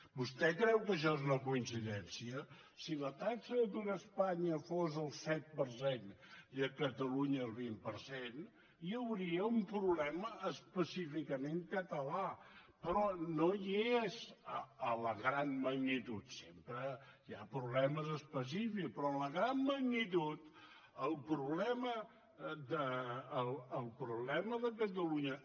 vostè creu que això és una coincidència si la taxa d’atur a espanya fos del set per cent i a catalunya el vint per cent hi hauria un problema específicament català però no hi és en la gran magnitud sempre hi ha problemes específics però en la gran magnitud el problema de catalunya